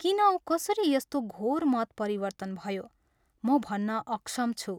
किन औ कसरी यस्तो घोर मत परिवर्तन भयो, म भन्न अक्षम छु!